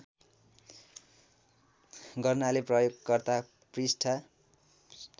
गर्नाले प्रयोगकर्ता पृष्ठ